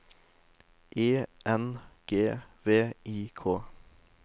E N G V I K